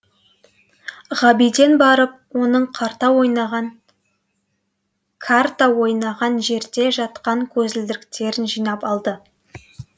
ғабиден барып оның карта ойнаған жерде жатқан көзілдіріктерін жинап алды